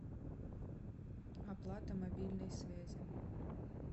оплата мобильной связи